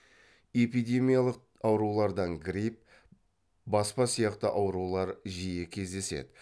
эпидемиялық аурулардан грипп баспа сияқты аурулар жиі кездеседі